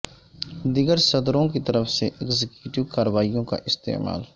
دیگر صدوروں کی طرف سے ایگزیکٹو کارروائیوں کا استعمال